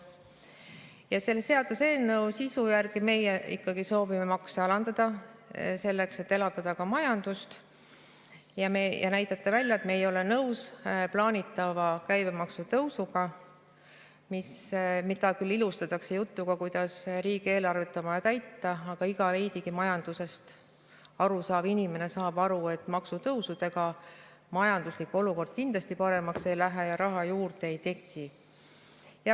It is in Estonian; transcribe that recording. Ja selle seaduseelnõu sisu järgi meie ikkagi soovime makse alandada, selleks et elavdada majandust ja näidata välja, et me ei ole nõus plaanitava käibemaksu tõusuga, mida küll ilustatakse jutuga, et riigieelarvet on vaja täita, aga iga veidigi majandusest aru saav inimene saab aru, et maksutõusudega majanduslik olukord kindlasti paremaks ei lähe ja raha juurde ei teki.